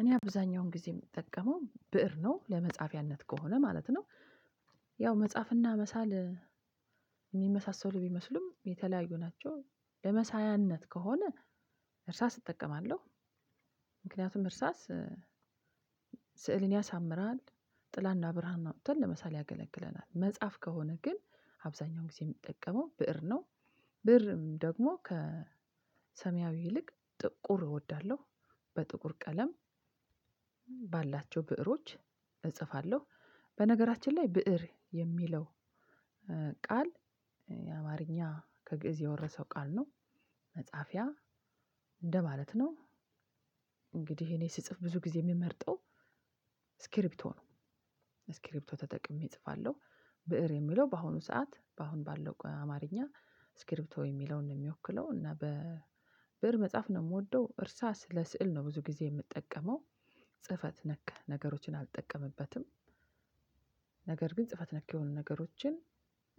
እኔ አብዛኛውን ጊዜ የምጠቀመው ብእር ነው ለመጻፊያነት ከሆነ ማለት ነው። ያው መጽሐፍና መሳል ሚመሳሰሉ ቢመስሉም የተለያዩ ናቸው። ለመሳያነት ከሆነ እርሳስ እጠቀማለሁ። ምክንያቱም እርሳስ ስዕልን ያሳምራል ጥላና ብርሃን አውጥተን ለመሳል ያገለግለናል። መጽሐፍ ከሆነ ግን አብዛኛውን ጊዜ የምጠቀመው ብእር ነው። ብእርም ደግሞ ከሰሚያዊ ይልቅ ጥቁር እወዳለሁ በጥቁር ቀለም ባላቸው ብእሮች እጽፋለሁ። በነገራችን ላይ ብእር የሚለው ቃል አማርኛ ከግእዝ የወረሰው ቃል ነው። መጽሐፊያ እንደማለት ነው። እንግዲህ እኔ ስጽፍ ብዙ ጊዜ የምመርጠው ስክሪፕቶ ነው። ስክሪፕቶ ተጠቅሜ እጽፋለሁ። ብእር የሚለው በአሁኑ ሰዓት በአሁን ባለው አማርኛ ስክሪፕቶ የሚለውን ነው የሚወክለው እና በብእር መጽሐፍ ነው የምወደው። እርሳስ ለስዕል ነው ብዙ ጊዜ የምጠቀመው። ጽፈት ነክ ነገሮችን አልጠቀምበትም። ነገር ግን ጽፈት ነክ የሆኑ ነገሮችን